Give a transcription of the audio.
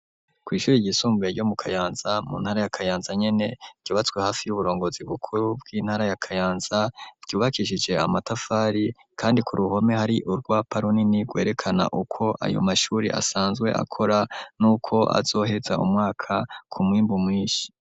Kw'ishuri ryisumbuye ryo mu Kayanza mu ntara ya Kayanza nyene ryubatswe hafi y'uburongozi bukuru bw'intara ya Kayanza ryubakishije amatafari kandi ku ruhome hari urwapa runini rwerekana uko ayo mashuri asanzwe akora nuko azoheza umwaka ku mwimbu mwishi.